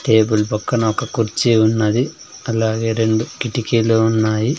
Table పక్కన ఒక కుర్చీ ఉన్నది అలాగే రెండు కిటికీలు ఉన్నాయి.